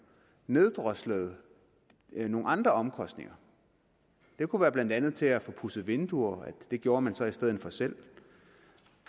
neddroslede nogle andre omkostninger det kunne blandt andet være til at få pudset vinduer det gjorde man så i stedet for selv